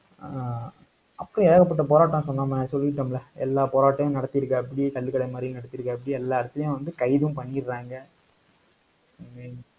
ஆஹ் அப்பயே ஏகப்பட்ட போராட்டம், சொன்னோம்ல சொல்லிட்டோம்ல. எல்லா போராட்டமும் நடத்தி இருக்காப்படி, கள்ளுக்கடை மறியல் நடத்திருக்காப்புடி. எல்லா இடத்துலயும் வந்து கைதும் பண்ணிடுறாங்க